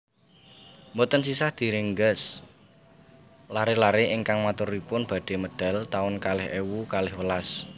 Mboten sisah direngges lare lare ingkang maturipun badhe medal taun kalih ewu kalih welas